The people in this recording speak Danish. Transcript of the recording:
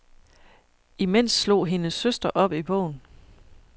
Imens slog hendes søster op i bogen.